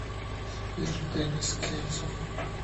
сбер денис кензо